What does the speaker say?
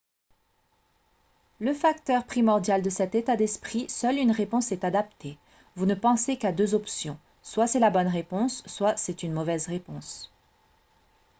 le facteur primordial de cet état d'esprit seule une réponse est adaptée vous ne pensez qu'à deux options soit c'est la bonne réponse soit c'est une mauvaise réponse